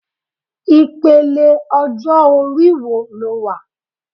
Ipele ọjọ-ori wo lo wà